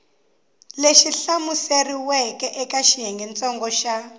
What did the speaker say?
lexi hlamuseriweke eka xiyengentsongo xa